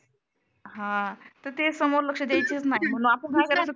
हा तेच समोर लक्ष द्यायचं नाही मग आपण काय करायचो.